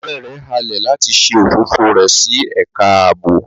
Ọrẹ rẹ halẹ lati ṣe ofofo rẹ si ẹka aabo